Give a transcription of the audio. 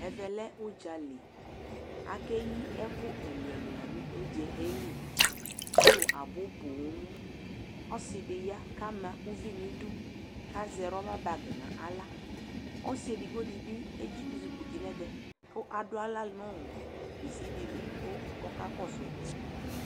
ɛvɛ lɛ udzali akeyi ɛko ɛlo ɛlo la no udzaɛ li alo abo ponŋ ɔse di ya ko ama uvi no idu ko azɛ rɔba bag no ala ɔse edigbo di bi ezukuti no ɛvɛ ko ado ala no bisi di li ko ɔka kɔso ɛkoɛ